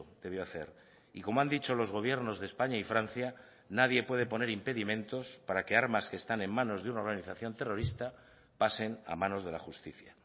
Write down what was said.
debió hacer y como han dicho los gobiernos de españa y francia nadie puede poner impedimentos para que armas que están en manos de una organización terrorista pasen a manos de la justicia